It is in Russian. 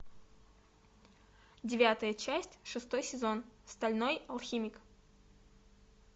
девятая часть шестой сезон стальной алхимик